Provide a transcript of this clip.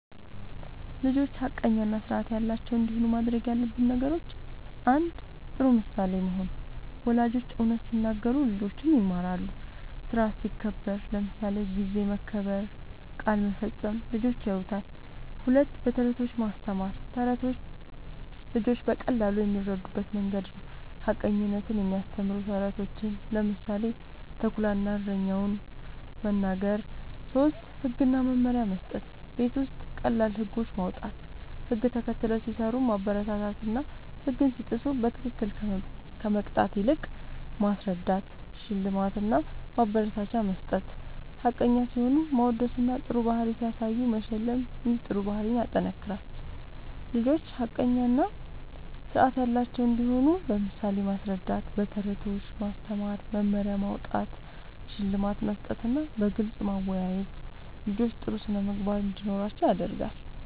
ልጆች ሐቀኛ እና ስርዓት ያላቸው እንዲሆኑ ማድረግ ያለብን ነገሮችን፦ ፩. ጥሩ ምሳሌ መሆን፦ ወላጆች እውነት ሲናገሩ ልጆችም ይማራሉ። ስርዓት ሲከበር (ጊዜ መከበር፣ ቃል መፈጸም) ልጆች ያዩታል። ፪. በተረቶች ማስተማር፦ ተረቶች ልጆች በቀላሉ የሚረዱበት መንገድ ነዉ። ሐቀኝነትን የሚያስተምሩ ተረቶችን (ምሳሌ፦ “ተኩላ እና እረኛው”) መናገር። ፫. ህግ እና መመሪያ መስጠት፦ ቤት ውስጥ ቀላል ህጎች ማዉጣት፣ ህግ ተከትለው ሲሰሩ ማበረታታትና ህግ ሲጥሱ በትክክል ከመቅጣት ይልቅ ማስረዳት ፬. ሽልማት እና ማበረታቻ መስጠት፦ ሐቀኛ ሲሆኑ ማወደስና ጥሩ ባህሪ ሲያሳዩ መሸለም ይህ ጥሩ ባህሪን ያጠናክራል። ልጆች ሐቀኛ እና ስርዓት ያላቸው እንዲሆኑ በምሳሌ ማስረዳት፣ በተረቶች ማስተማር፣ መመሪያ ማዉጣት፣ ሽልማት መስጠትና በግልጽ ማወያየት ልጆች ጥሩ ስነ ምግባር እንዲኖራቸዉ ያደርጋል